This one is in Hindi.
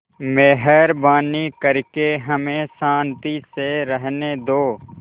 मेहरबानी करके हमें शान्ति से रहने दो